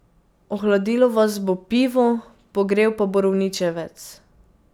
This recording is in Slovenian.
Ohladilo vas bo pivo, pogrel pa borovničevec.